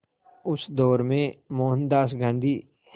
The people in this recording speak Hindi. उस दौर में मोहनदास गांधी